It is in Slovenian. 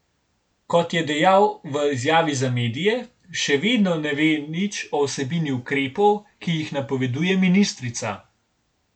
Kot je dejal v izjavi za medije, še vedno ne ve nič o vsebini ukrepov, ki jih napoveduje ministrica.